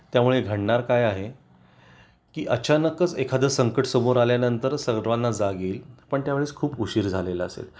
त्यामुळे घडणार काय आहे की अचानकच एखादं संकट समोर आल्यानंतर सर्वांना जाग येईल पण त्या वेळेस खूप उशीर झालेला असेल